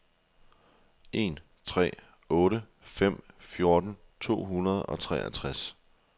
en tre otte fem fjorten to hundrede og treogtres